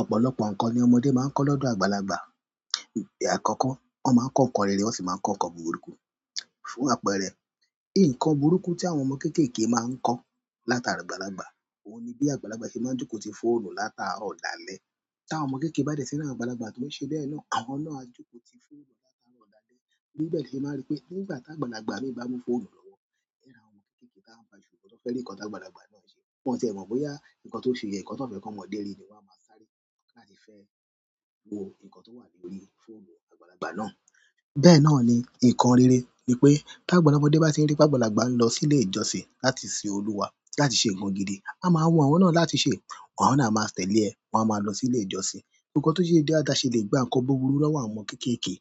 Ọ̀pọ̀lọpọ̀ nkan ni ọmọdé maa n ko lọdọ àgbàlagbà. Ìgbà àkọ́kọ́ wọ́n máa ń kọ nkàn rere wọ́n sì máa ń kọ nkàn búburú. Fún àpẹẹrẹ, in nkàn búrúku tí àwọn ọmọ kéékèèké máa ń kọ látara àgbàlagbà, òun ni bí àgbàlagbà ṣe máa ń jókòó ti fóònù látaro dàlẹ̀ tí àwọn ọmọ kéékèèké bá dẹ̀rí àwọn àgbàlagbà tó ń ṣe bẹ́ẹ̀ náà, àwọn náà á jókòó ti fóònù látaro dàlẹ̀. Ní bẹ́ẹ̀ ni ẹ máa rí pé nígbà tí àgbàlagbà bá mú fóònù lọ́wọ́, ẹ́ ra àwọn ọmọ kéékèèké táa ń pa ìṣùgbọ́n tó fẹ́ lè nkàn táa àgbàlagbà náà ń ṣe. Wọn tie mo boya nkán ti on se yen nkan ti wọn fe komode ri ni, wọn ma sáré láti fe wo nkan ti o wa lórí fóònù àgbàlagbà náà. Bẹ́ẹ̀ náà ni nkàn rere, ni pé tí àgbàlagbà ọmọdé bá ti rí pé àgbàlagbà ń lọ sí ilé ìjọsìn láti ṣe olúwa láti ṣe nǹkan gidi, a máa wun àwọn náà láti ṣe, àwọn náà máa tẹ̀lé ẹ, wọ́n á máa lọ sí ilé ìjọsìn. Nkàn tó ṣe ìdádá ṣe lè gba nkàn búburú lọ́wọ́ àwọn ọmọ kéékèèké,